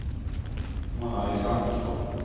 Mona Alexandersson